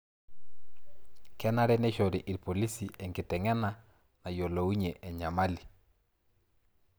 Kenare neishore irpolisi enkiteng'ena nayiolouny'ie enyamali